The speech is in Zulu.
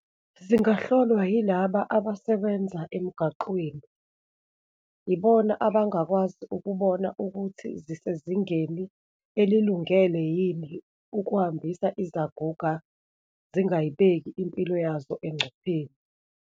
Zingahlolwa yilaba abasebenza emgaqweni, ibona abangakwazi ukubona ukuthi zisezingeni elilungele yini ukuhambisa izaguga, zingayibeki impilo yazo engcupheni.